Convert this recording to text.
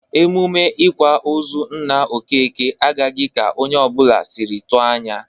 Emume ịkwa ozu nna Okeke agaghị ka onye ọbụla sịrị tụ anya.